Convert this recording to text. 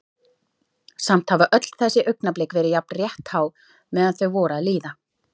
Samt hafa öll þessi augnablik verið jafn rétthá meðan þau voru að líða.